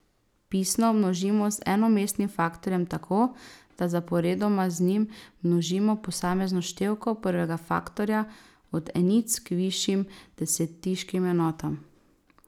Pisno množimo z enomestnim faktorjem tako, da zaporedoma z njim množimo posamezno števko prvega faktorja od enic k višjim desetiškim enotam.